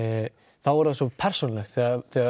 þá er það svo persónulegt þegar